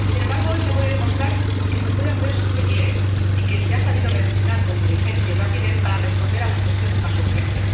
Sin embargo, hoy se ha podido demostrar que se puede hacer si se quiere y que se ha sabido reaccionar con diligencia y rapidez para responder a las cuestiones más urgentes.